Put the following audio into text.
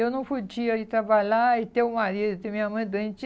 Eu não podia ir trabalhar e ter um marido, ter minha mãe doente.